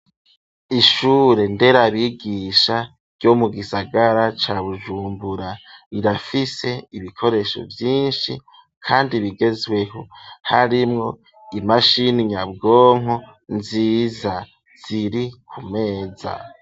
Ishure nderabigisha ryo mu gisagara ca bujumbura rirafise ibikoresho vyinshi kandi bigezweho harimwo imashini nyabwonko nziza ziri ku meza.